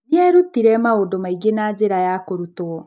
Nĩ eerutire maũndũ maingĩ na njĩra ya kũrutwo.